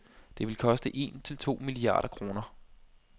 Det vil koste en til to milliarder kroner.